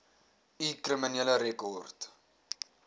u kriminele rekord